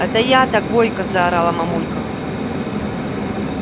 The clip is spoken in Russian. это я-то гойка заорала мамулька